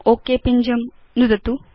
okay पिञ्जं नुदतु